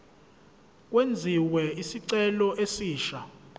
kwenziwe isicelo esisha